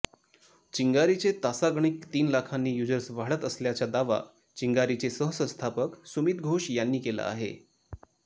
चिंगारीचे तासागणिक तीन लाखांनी युजर्स वाढत असल्याचा दावा चिंगारीचे सहसंस्थापक सुमित घोष यांनी केला आहे